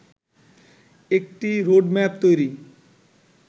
একটি রোডম্যাপ তৈরি